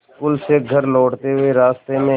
school से घर लौटते हुए रास्ते में